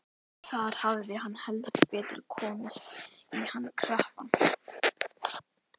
Þar hafði hann heldur betur komist í hann krappan.